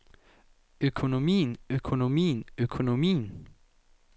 økonomien økonomien økonomien